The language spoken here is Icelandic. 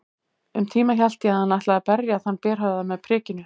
Um tíma hélt ég hann ætlaði að berja þann berhöfðaða með prikinu.